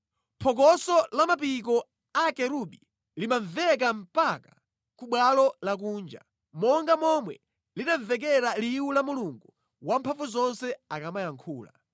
Phokoso la mapiko a akerubi limamveka mpaka ku bwalo lakunja, monga momwe linamvekera liwu la Mulungu Wamphamvuzonse akamayankhula.